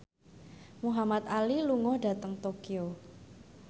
Muhamad Ali lunga dhateng Tokyo